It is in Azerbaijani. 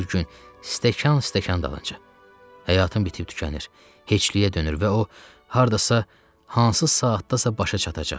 Hər gün stəkan-stəkan dalınca həyatın bitib tükənir, heçliyə dönür və o hardasa hansı saatdadasa başa çatacaq.